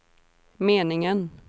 meningen